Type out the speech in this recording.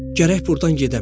Gərək burdan gedəm.